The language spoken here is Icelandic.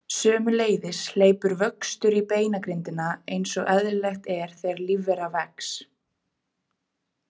Sömuleiðis hleypur vöxtur í beingrindina eins og eðlilegt er þegar lífvera vex.